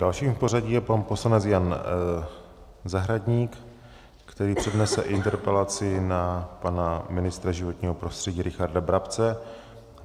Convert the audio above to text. Dalším v pořadí je pan poslanec Jan Zahradník, který přednese interpelaci na pana ministra životního prostředí Richarda Brabce.